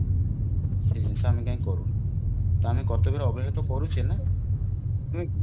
ସେ ଜିନିଷ ଆମେ କାଇଁ କରୁନୁ ତ ଆମେ କର୍ତବ୍ୟ ରେ ତ ଅବହେଳା କରୁଚେ ନା ନୁହେଁ କି